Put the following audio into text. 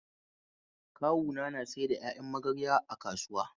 Kawuna na saida ƴaƴan magarya a kasuwa.